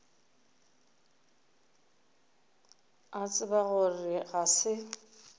a tseba gore ga se